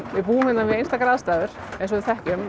við búum hérna við einstakar aðstæður eins og við þekkjum